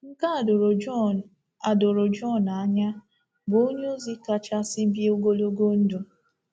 Nke a doro Jọn a doro Jọn anya, bụ́ onyeozi kachasị bie ogologo ndụ.